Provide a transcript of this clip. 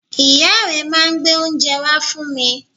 Ìyá rẹ̀ máa n gbé oúnje wá fún wa